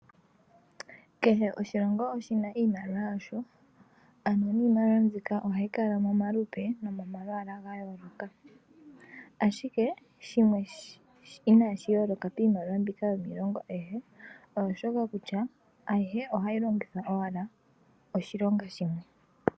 Kehe oshilongo oshina iimliwa yasho ano niimaliwa mbika ohayi kala momalupe gayooloka, ashike shimwe inashi yooloka miimaliwa mbika yiilongo ayihe oshika kutya, ayihe oahyi longithwa owala oshilonga shimwe.